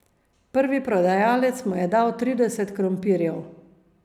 Prvi prodajalec mu je dal trideset krompirjev.